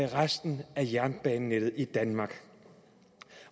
resten af jernbanenettet i danmark